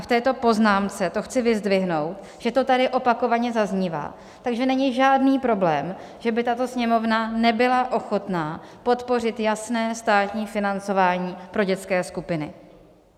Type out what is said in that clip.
A v této poznámce to chci vyzdvihnout, že to tady opakovaně zaznívá, takže není žádný problém, že by tato Sněmovna nebyla ochotna podpořit jasné státní financování pro dětské skupiny.